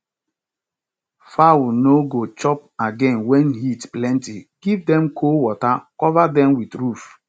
fowl nor go chop again wen heat plenty give dem cold water cover dem with roof